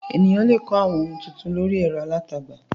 Ènìyàn le kọ́ àwọn ohun tuntun lórí ẹ̀rọ alátagbà.